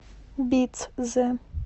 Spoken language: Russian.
бицзе